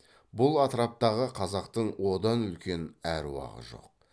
бұл атыраптағы қазақтың одан үлкен аруағы жоқ